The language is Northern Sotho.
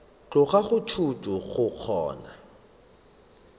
tloga go thuto go kgona